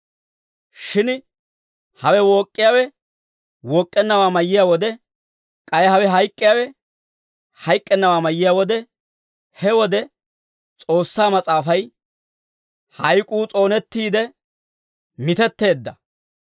Shin hawe wook'k'iyaawe wook'k'ennawaa mayiyaa wode, k'ay hawe hayk'k'iyaawe hayk'k'ennawaa mayiyaa wode, he wode, S'oossaa Mas'aafay, «Hayk'uu s'oonettiide mitetteedda.